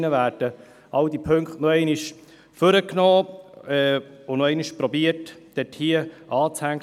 Es werden alle Punkte noch einmal hervorgeholt, und es wird noch einmal versucht, dort einzuhängen.